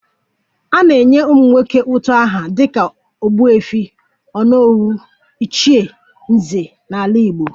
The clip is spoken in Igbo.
A na-enye ụmụnwoke utu aha dịka ogbuefi, onowu, ichie, nze n'ala Igbo